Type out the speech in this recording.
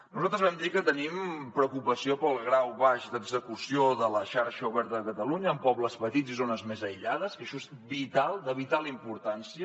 nosaltres vam dir que tenim preocupació pel grau baix d’execució de la xarxa oberta de catalunya en pobles petits i zones més aïllades que això és vital de vital importància